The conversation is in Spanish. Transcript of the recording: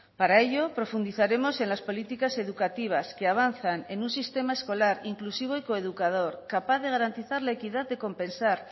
para ello profundizaremos en las políticas educativas que avanzan en un sistema escolar inclusivo y coeducador capaz de garantizar la equidad de compensar